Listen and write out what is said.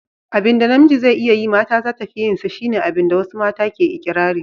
Abin da namiji zai iya yi mata zata fi yin sa, shi ne abin da wasu mata ke ikirari.